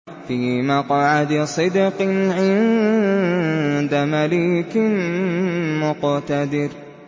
فِي مَقْعَدِ صِدْقٍ عِندَ مَلِيكٍ مُّقْتَدِرٍ